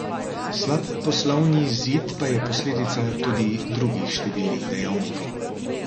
Slab poslovni izid pa je posledica tudi drugih številnih dejavnikov.